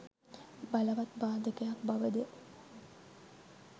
බලවත් බාධකයක් බව ද